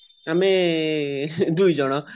ଆଉ ଆମେ ଦୁଇ ଜଣ